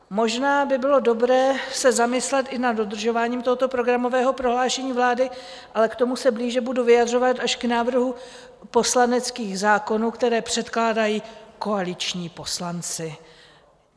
Možná by bylo dobré se zamyslet i nad dodržováním tohoto programového prohlášení vlády, ale k tomu se blíže budu vyjadřovat až u návrhů poslaneckých zákonů, které předkládají koaliční poslanci.